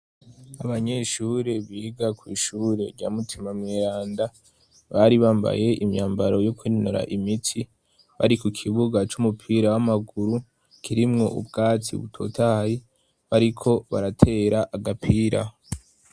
abanyeshure biga ku ishure rya mutima mweranda, bari bambaye imyambaro yo kwinonora imitsi, bari ku kibuga c'umupira w'amaguru, kirimwo ubwatsi butotahaye, bariko baratera agapira.